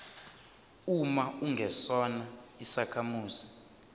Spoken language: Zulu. uma ungesona isakhamuzi